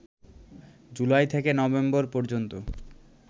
জুলাই থেকে নভেম্বর পর্যন্ত